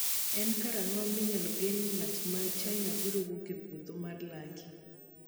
En karang’o ma inyalo geno ni ng’at ma China biro wuok e podho mar Lucky?